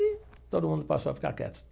E todo mundo passou a ficar quieto.